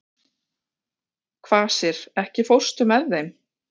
Kvasir, ekki fórstu með þeim?